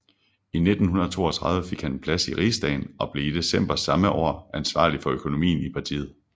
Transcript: I 1932 fik han en plads i rigsdagen og blev i december samme år ansvarlig for økonomien i partiet